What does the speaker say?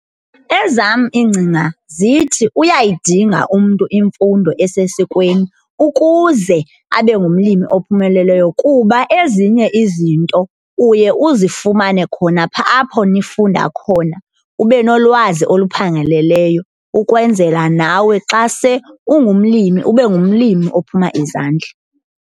Ezam iingcinga zithi uyayidinga umntu imfundo esesikweni ukuze abe ngumlimi ophumeleleyo kuba ezinye izinto uye uzifumane khona phaa apho nifunda khona, ube nolwazi oluphangaleleyo ukwenzela nawe xa se ungumlimi ube ngumlimi ophuma izandla.